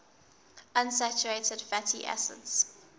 unsaturated fatty acids